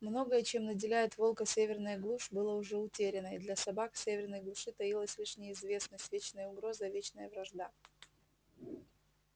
многое чем наделяет волка северная глушь было уже утеряно и для собак в северной глуши таилась лишь неизвестность вечная угроза и вечная вражда